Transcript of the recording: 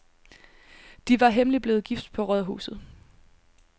De blev hemmeligt blevet gift på rådhuset.